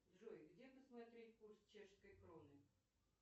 джой где посмотреть курс чешской кроны